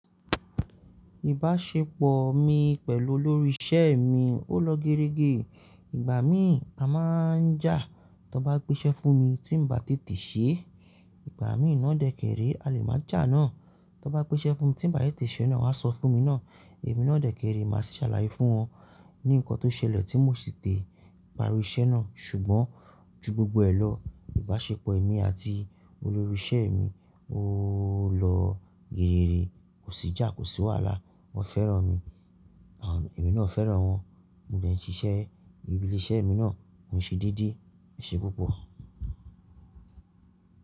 Ìbáṣepọ̀ mi pẹ̀lú olórí isẹ́ mi ò lọ géregé. Ìgbà mí a máa ń jà, tó bá gbè sé fún mi tí n ba tètè ṣe, ìgbà mí ì náà dẹ̀ kèrè a lè máa jà ná. Tó bá gbè sé fún mi tí n ba tètè ṣe, náà won à sọ fún mi ná. Èmi náà dẹ̀ kèrè, màá sì ṣàlàyé fún wọn ní nkán tó ṣẹlẹ̀ tí mo sì tẹ̀ parí isẹ́ náà. Ṣùgbọ́n ju gbogbo ẹ lọ, ìbáṣepọ̀ èmi àti olórí isẹ́ mi ò lọ gééré, kò sì jà, kò sì wàhálà. Wọ́n fẹ́ràn mi, èmi náà fẹ́ràn wọn. Mo dẹ̀ ń ṣiṣẹ́ ìbí lẹ̀ isẹ́ mi náà, mò ń ṣe déédéé, èṣe púpọ̀.